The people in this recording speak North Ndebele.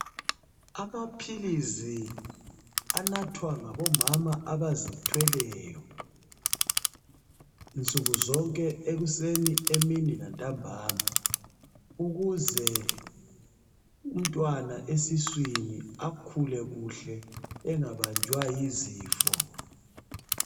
Amaphilizi anathwa ngabomama abazithweleyo, nsuku zonke! Ekuseni, emini lantambama. Ukuze umntwana esiswini, akhule kuhle. Engabanjwa yizifo.